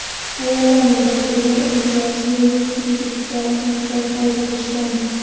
Ayollarning ko‘pchiligi imtiyozli kreditga uy-joy xarid qilishgan.